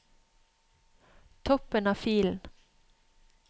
Toppen av filen